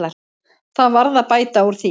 Það varð að bæta úr því.